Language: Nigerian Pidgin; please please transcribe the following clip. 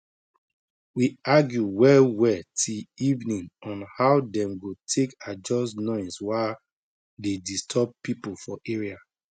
we argue well well till evening on how dem go take adjust noise wa dey disturb people for area